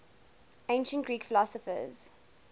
ancient greek philosophers